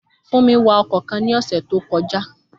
Fúnmi wa ọkọ̀ kan ní ọ̀sẹ̀ tó kọjá